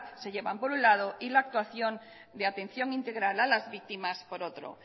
se llevan por un lado y la actuación de atención integral a las víctimas por otro